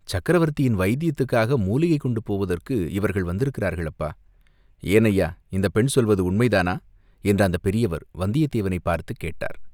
"சக்கரவர்த்தியின் வைத்தியத்துக்காக மூலிகை கொண்டு போவதற்கு இவர்கள் வந்திருக்கிறார்கள், அப்பா!" "ஏன் ஐயா, இந்தப் பெண் சொல்லுவது உண்மை தானா?" என்று அந்தப் பெரியவர் வந்தியத்தேவனைப் பார்த்துக் கேட்டார்.